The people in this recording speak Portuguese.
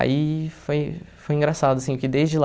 Aí foi foi engraçado, assim, porque desde lá...